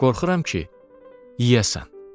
Qorxuram ki, yeyəsən.